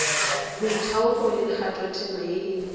boithaupo le kgathotema ye e